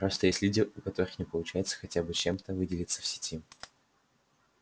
просто есть люди у которых не получается хотя бы чем-то выделиться в сети